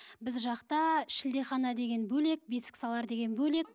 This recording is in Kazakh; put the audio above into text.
біз жақта шілдехана деген бөлек бесіксалар деген бөлек